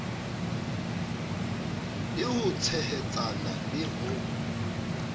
le ho tshehetsana le ho